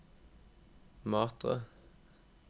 Matre